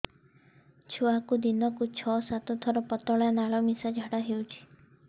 ଛୁଆକୁ ଦିନକୁ ଛଅ ସାତ ଥର ପତଳା ନାଳ ମିଶା ଝାଡ଼ା ହଉଚି